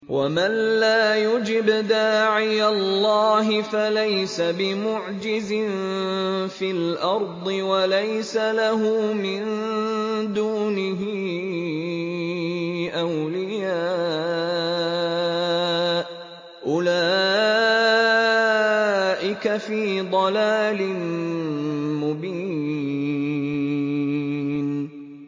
وَمَن لَّا يُجِبْ دَاعِيَ اللَّهِ فَلَيْسَ بِمُعْجِزٍ فِي الْأَرْضِ وَلَيْسَ لَهُ مِن دُونِهِ أَوْلِيَاءُ ۚ أُولَٰئِكَ فِي ضَلَالٍ مُّبِينٍ